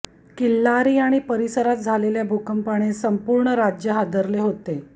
किल्लारी आणि परिसरात झालेल्या भूकंपाने संपूर्ण राज्य हादरले होते